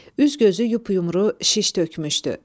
Üz-gözü yumru, şiş tökmüşdü.